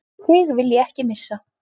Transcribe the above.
Þig vil ég ekki missa.